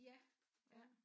Ja ja